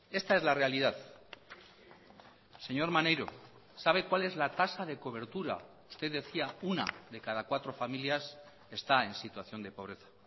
esta es la realidad señor maneiro sabe cuál es la tasa de cobertura usted decía una de cada cuatro familias está en situación de pobreza